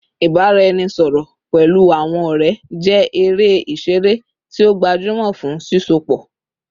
Ibaraẹnisọrọ pẹlu awọn ọrẹ jẹ ere iṣere ti o gbajumọ fun sisọpọ